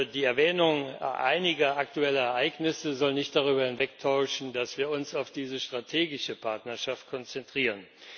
Die Erwähnung einiger aktueller Ereignisse soll nicht darüber hinwegtäuschen, dass wir uns auf diese strategische Partnerschaft konzentrieren.